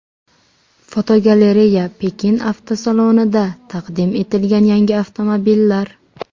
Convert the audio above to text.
Fotogalereya: Pekin avtosalonida taqdim etilgan yangi avtomobillar.